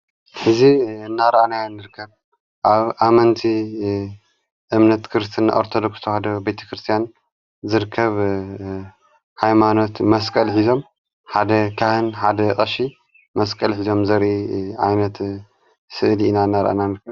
ሕዙ እናርእንይ ንርከብ ኣብ ኣመንቲ እምነት ክርስትን ኣርተዶክስቶ ሃደ ቤተ ክርስቲያን ዘርከብ ኃይማኖት መስቀል ኂዞም ሓደ ኻህን ሓደ ቐሺ መስቀል ኂዞም ዘሪ ኣይነት ሥእል ኢ ና እናርአና ንርከብ።